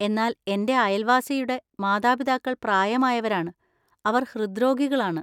എന്നാൽ എന്‍റെ അയൽവാസിയുടെ മാതാപിതാക്കൾ പ്രായമായവരാണ്, അവർ ഹൃദ്രോഗികളാണ്.